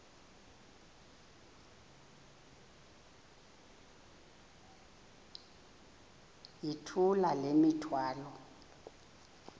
yithula le mithwalo